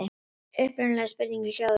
Upprunalega spurningin hljóðaði svo: